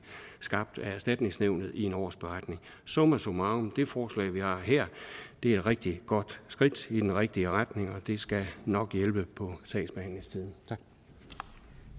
skabt af erstatningsnævnet i en årsberetning summa summarum det forslag vi har her er et rigtig godt skridt i den rigtige retning og det skal nok hjælpe på sagsbehandlingstiden